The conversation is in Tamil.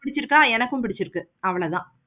பிடிச்சிருக்கா எனக்கு பிடிச்சிருக்கு அவ்வளோதான்